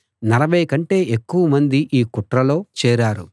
నలభై కంటే ఎక్కువమంది ఈ కుట్రలో చేరారు